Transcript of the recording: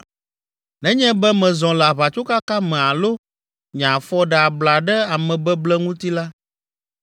“Nenye be mezɔ le aʋatsokaka me alo nye afɔ ɖe abla ɖe amebeble ŋuti la,